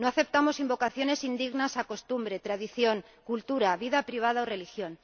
No aceptamos invocaciones indignas a costumbre, tradición, cultura, vida privada o religión.